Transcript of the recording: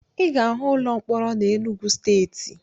Ị ga-ahụ ụlọ mkpọrọ na Enugwu Steeti